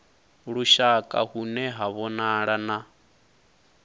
lushaka hune ha vhonala na